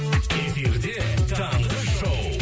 эфирде таңғы шоу